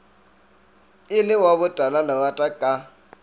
e le wa botalalerata ka